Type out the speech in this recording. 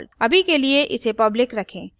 अभी के लिए इसे public रखें